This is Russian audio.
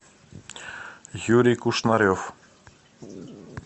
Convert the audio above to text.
юрий кушнарев